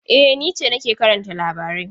E, ni ce nake karanta labarai.